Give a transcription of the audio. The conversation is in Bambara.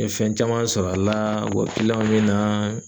N ye fɛn caman sɔrɔ a la, wa bi na